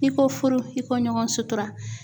I ko furu i ko ɲɔgɔn sutura.